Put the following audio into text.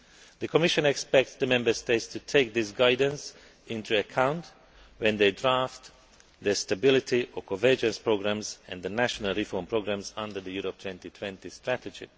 The Commission expects the Member States to take this guidance into account when they draft their stability or convergence programmes and the national reform programmes under the Europe 2020 Strategy.